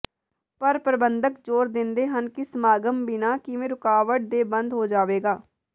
ਪਰ ਪ੍ਰਬੰਧਕ ਜ਼ੋਰ ਦਿੰਦੇ ਹਨ ਕਿ ਸਮਾਗਮ ਬਿਨਾਂ ਕਿਸੇ ਰੁਕਾਵਟ ਦੇ ਬੰਦ ਹੋ ਜਾਵੇਗਾ